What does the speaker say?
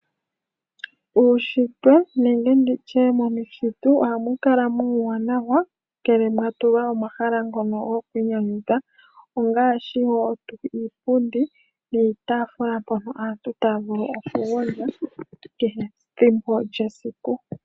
Uushitwe nenge momuthitu ohamu kala muuwanawa ngele mwa tulwa omahala ngono gokwiinyanyundha ongaashi wo iipundi niitafula mpono aantu taya vulu okugondja kehe ethimbo lyesiku.